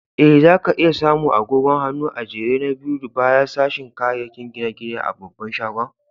Eh, za ka iya samu agogon hannu a'jere na biyu baya sashin kayakin gine-gine a babban shagon.